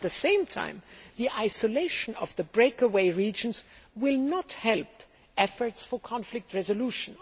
At the same time, the isolation of the breakaway regions will not help efforts for conflict resolution.